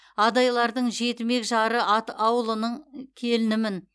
адайлардың жетімек жары ат ауылының келінімін